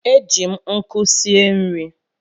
E ji m nkụ sie nri.